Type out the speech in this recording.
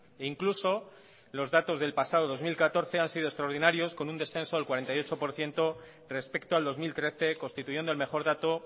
e incluso los datos del pasado dos mil catorce han sido extraordinarios con un descenso del cuarenta y ocho por ciento respecto al dos mil trece constituyendo el mejor dato